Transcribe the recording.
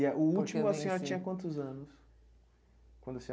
E o último, a senhora tinha quantos anos? Quando a senhora